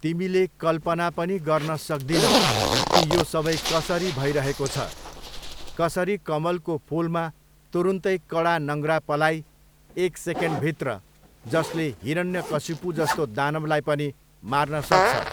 तिमीले कल्पना पनि गर्न सक्दिनौ कि यो सबै कसरी भइरहेको छ, कसरी कमलको फुलमा तुरुन्तै कडा नङ्ग्रा पलाइ एक सेकेन्डभित्र जसले हिरन्यकशिपु जस्तो दानवलाई पनि मार्न सक्छ।